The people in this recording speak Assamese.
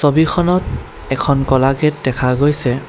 ছবিখনত এখন ক'লা গেট দেখা গৈছে।